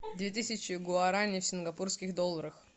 две тысячи гуарани в сингапурских долларах